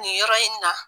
Nin yɔrɔ in na